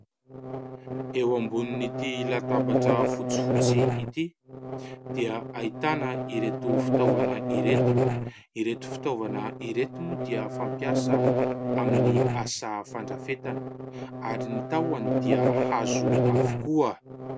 Eo ambonin'ity latabatra fotsifotsy ity dia ahitana ireto fitaovana ireto, Ireto fitaovana ireto moa dia fampiasa amin'ny asa fandrafetana ary ny tahony dia hazo avokoa.